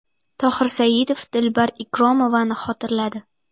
Tohir Saidov Dilbar Ikromovani xotirladi.